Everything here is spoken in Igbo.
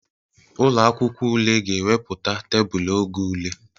Ụlọ akwụkwọ ule ga-ewepụta tebụl oge ule.